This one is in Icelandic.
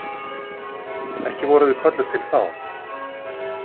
Ekki vorum við kölluð til þá.